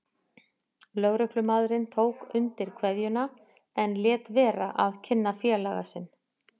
Lögreglumaðurinn tók undir kveðjuna en lét vera að kynna félaga sinn.